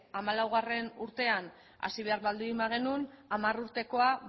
hamalaugarrena urtean hasi behar baldin bagenuen hamar urtekoa